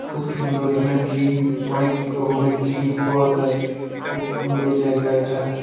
খুব সুন্দর এখানে ড্রিংকস অনেক রকমের ড্রিংকস পাওয়া যায় খুব সুন্দর জায়গা এটা।